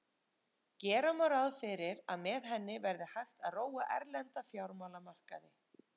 Gera má ráð fyrir að með henni verði hægt að róa erlenda fjármálamarkaði.